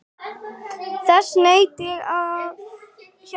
Þess naut ég af hjarta.